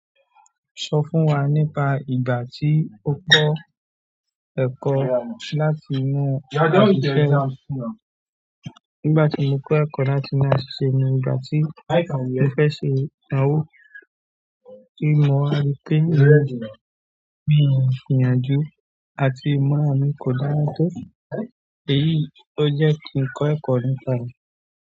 Sọ fún wa nípa ìgbà tí o kọ́ ẹ̀kọ́ láti inú asiṣe. Nígbà tí mo kọ́ ẹ̀kọ́ láti inú asiṣe ni ìgbà tí mo fẹ́ ṣe idanwó. Tí mo rí pé mí o gbìyànjú àti ìmọ̀ mi kò dára tó, èyí ló jẹ́ kí n kọ́ ẹ̀kọ́ nípà e.